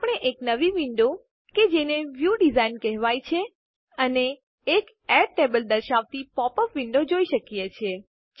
આપણે એક નવી વિન્ડો કે જેને વ્યૂ ડિઝાઇન કહેવાય છે અને એક એડ ટેબલ્સ દર્શાવતી પોપ અપ વિન્ડો જોઈ શકીએ છીએ